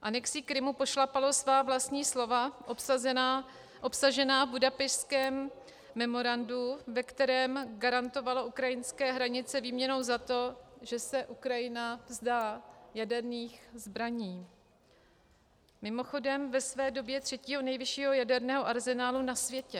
Anexí Krymu pošlapalo svá vlastní slova obsažená v Budapešťském memorandu, ve kterém garantovalo ukrajinské hranice výměnou za to, že se Ukrajina vzdá jaderných zbraní, mimochodem ve své době třetího nejvyššího jaderného arzenálu na světě.